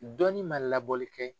Dɔnnin man labɔli kɛ.